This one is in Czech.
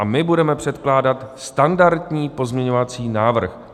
A my budeme předkládat standardní pozměňovací návrh.